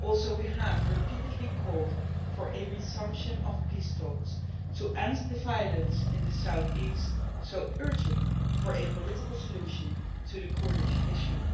We have also repeatedly called for a resumption of peace talks to end the violence in the south east, thus pushing for a political solution to the Kurdish issue.